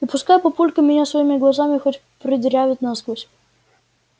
и пускай папулька меня своими глазами хоть продырявит насквозь